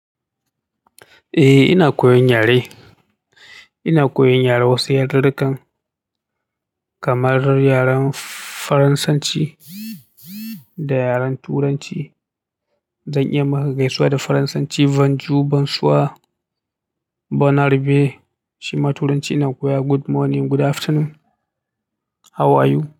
Ehh ina koyan yare ina koyon yare wasu yaren wasu yarirukan kamar yaren Faransanci da yaren Turanci. Zan iya magaisuwa da Faransanci. "Bonjour bonsoir bonne apres-midi." Shima Turanci ina koyawa "Good morning, good afternoon, how are you?"